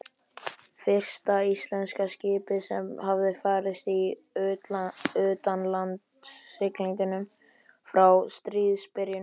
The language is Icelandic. Fyrsta íslenska skipið sem hafði farist í utanlandssiglingum frá stríðsbyrjun.